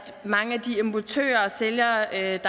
mange af de importører og sælgere af